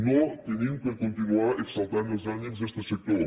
no hem de continuar exaltant els ànims d’este sector